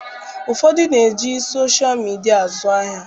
Ụfọdụ na-eji soshal midia azụ ahịa.